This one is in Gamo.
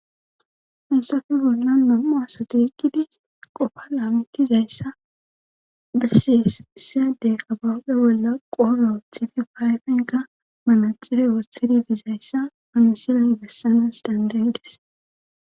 Hensafe bolla nam7u asateyqqidi qofa laametizayssa bessees siyade habab7he bolla qora woothidi fayfenka manaxire wothidi dizayssa pansilay bessanas dandayges.